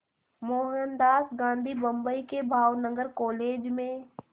मोहनदास गांधी बम्बई के भावनगर कॉलेज में